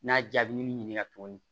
N'a jaabi ni ɲininka tuguni